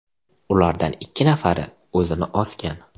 Ulardan ikki nafari o‘zini osgan.